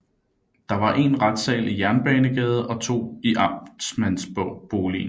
Der var én retssal i Jernbanegade og to i amtmandsboligen